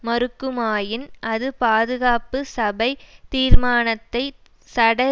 மறுக்குமாயின் அது பாதுகாப்பு சபை தீர்மானத்தை சட